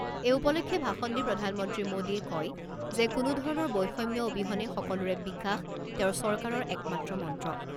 এই উপলক্ষে ভাষণ দি প্ৰধানমন্ত্ৰী মোডীয়ে কয় যে কোনো ধৰণৰ বৈষম্য অবিহনে সকলোৰে বিকাশ তেওঁৰ চৰকাৰৰ একমাত্ৰ মন্ত্ৰ।